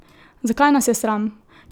Zakaj nas je sram?